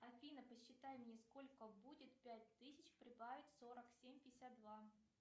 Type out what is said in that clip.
афина посчитай мне сколько будет пять тысяч прибавить сорок семь пятьдесят два